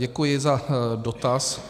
Děkuji za dotaz.